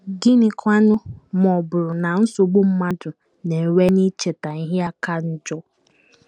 Gịnịkwanụ ma ọ bụrụ na nsogbu mmadụ na - enwe n’icheta ihe aka njọ?